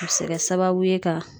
A be se kɛ sababu ye ka